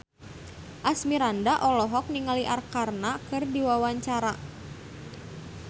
Asmirandah olohok ningali Arkarna keur diwawancara